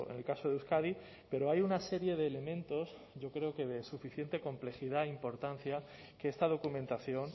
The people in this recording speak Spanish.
el caso de euskadi pero hay una serie de elementos yo creo que de suficiente complejidad e importancia que esta documentación